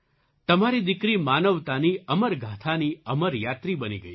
તમારી દીકરી માનવતાની અમરગાથાની અમર યાત્રી બની ગઈ છે